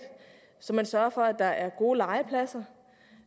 så man sørger for at der er gode legepladser